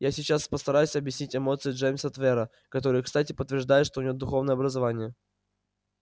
я сейчас постараюсь объяснить эмоции джеймса твера которые кстати подтверждают что у него духовное образование